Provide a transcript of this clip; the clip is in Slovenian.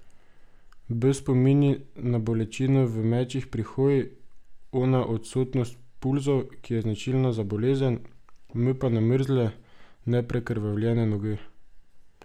B spomni na bolečino v mečih pri hoji, O na odsotnost pulzov, ki je značilna za bolezen, M pa na mrzle, neprekrvavljene noge.